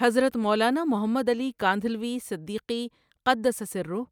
حضرت مولانا محمد علی کاندھلوی صدیقی قدس سرہ